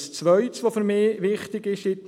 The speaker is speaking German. Zweitens ist für mich wichtig: